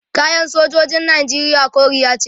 kayan sojojin nijeriya koriya ce